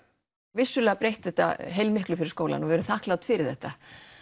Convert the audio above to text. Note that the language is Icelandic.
vissulega breytti þetta heilmiklu fyrir skólann og við erum þakklát fyrir þetta